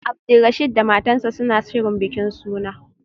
Abdulrasheed da matarsa ​​suna shirin bikin suna